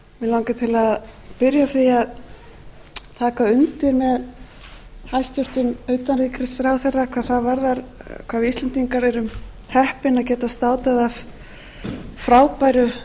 taka undir með hæstvirtum utanríkisráðherra hvað það varðar hvað við íslendingar erum heppin að geta státað af frábæru